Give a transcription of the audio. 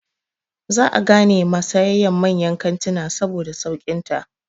Za a gane ma sayayyan manyan kantina saboda sauƙin ta.